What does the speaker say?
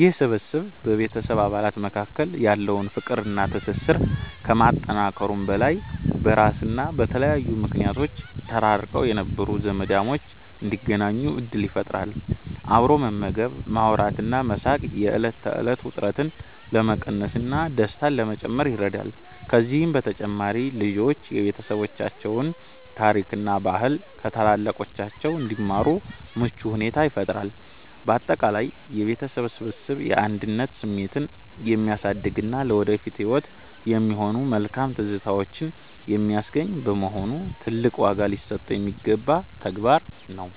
ይህ ስብስብ በቤተሰብ አባላት መካከል ያለውን ፍቅርና ትስስር ከማጠናከሩም በላይ፣ በስራና በተለያዩ ምክንያቶች ተራርቀው የነበሩ ዘመዳሞች እንዲገናኙ ዕድል ይፈጥራል። አብሮ መመገብ፣ ማውራትና መሳቅ የዕለት ተዕለት ውጥረትን ለመቀነስና ደስታን ለመጨመር ይረዳል። ከዚህም በተጨማሪ ልጆች የቤተሰባቸውን ታሪክና ባህል ከታላላቆቻቸው እንዲማሩ ምቹ ሁኔታን ይፈጥራል። ባጠቃላይ የቤተሰብ ስብስብ የአንድነት ስሜትን የሚያሳድግና ለወደፊት ህይወት የሚሆኑ መልካም ትዝታዎችን የሚያስገኝ በመሆኑ፣ ትልቅ ዋጋ ሊሰጠው የሚገባ ተግባር ነው።